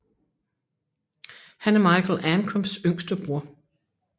Han er Michael Ancrams yngste bror